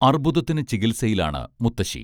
അർബുദത്തിന് ചികിത്സയിലാണ് മുത്തശ്ശി